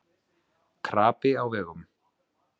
Krapi á vegum